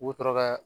U bɛ sɔrɔ ka